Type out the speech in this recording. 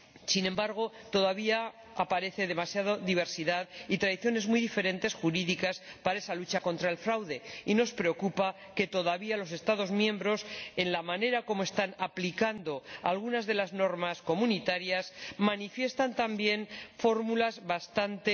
Sin embargo, todavía encontramos demasiada diversidad y tradiciones jurídicas muy diferentes para esa lucha contra el fraude, y nos preocupa que todavía los Estados miembros en la manera en que están aplicando algunas de las normas comunitarias― manifiesten también fórmulas bastante